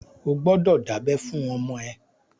O gbọ́dọ̀ dábẹ́ fún ọmọ ẹ!